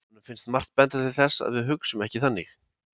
honum finnst margt benda til þess að við hugsum ekki þannig